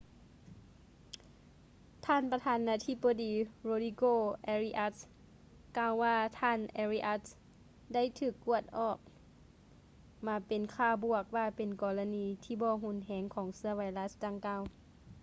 ທ່ານປະທານນາທິບໍດີ ໂຣດຼີໂກ ເອຣິອັດສ໌ rodrigo arias ກ່າວວ່າ ທ່ານ ເອຣິອັດສ໌ arias ໄດ້ຖືກກວດອອກມາເປັນຄ່າບວກ ວ່າເປັນກໍລະນີທີ່ບໍ່ຮຸນແຮງ ຂອງເຊື້ອໄວຣັດດັ່ງກ່າວ